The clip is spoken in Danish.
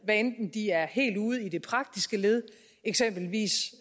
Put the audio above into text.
hvad enten det er helt ude i det praktiske led eksempelvis